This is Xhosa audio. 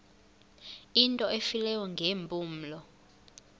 into efileyo ngeempumlo